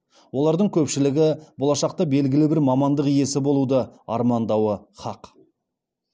олардың көпшілігі болашақта белгілі бір мамандық иесі болуды армандауы хақ